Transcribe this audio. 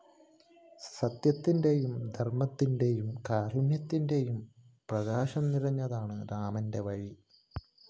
സത്യത്തിന്റെയും ധര്‍മ്മത്തിന്റെയും കാരുണ്യത്തിന്റെയും പ്രകാശം നിറഞ്ഞതാണ് രാമന്റെ വഴി